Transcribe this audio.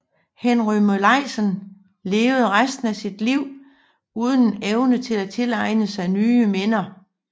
Henry Molaison levede resten af sit liv uden evne til at tilegne sig nye minder